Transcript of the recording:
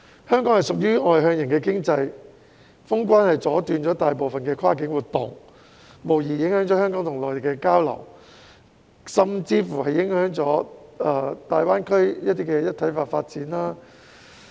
香港屬於外向型經濟，封關阻斷了大部分跨境活動，影響了香港與內地的交流，甚至影響到大灣區的一體化發展。